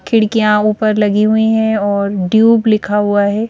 खिड़कियां ऊपर लगी हुई है और ट्यूब लिखा हुआ है।